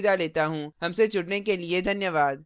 हमसे जुड़ने के लिए धन्यवाद